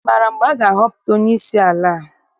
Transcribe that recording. Ị maara mgbe a ga-ahọpụta onyeisi ala?